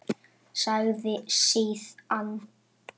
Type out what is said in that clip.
Sagði síðan